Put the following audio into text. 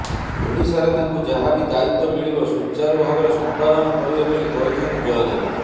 ଓଡିଶାରେ ତାଙ୍କୁ ଯାହାବି ଦାୟିତ୍ବ ମିଳିବ ସୁଚାରୂ ଭାବରେ ସମ୍ପାଦନ କରିବେ ବୋଲି କହିଛନ୍ତି ଜୟଦେବ